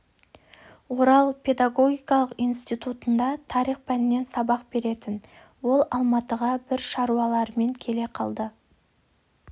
орал педагогикалық институтында тарих пәнінен сабақ беретін ол алматыға бір шаруалармен келе қалды